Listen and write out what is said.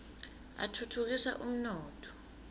atfutfu kisa umnotfo